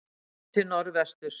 Séð til norðvesturs.